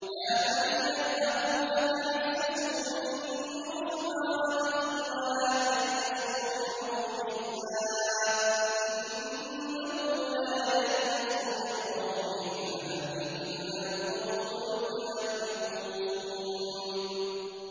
يَا بَنِيَّ اذْهَبُوا فَتَحَسَّسُوا مِن يُوسُفَ وَأَخِيهِ وَلَا تَيْأَسُوا مِن رَّوْحِ اللَّهِ ۖ إِنَّهُ لَا يَيْأَسُ مِن رَّوْحِ اللَّهِ إِلَّا الْقَوْمُ الْكَافِرُونَ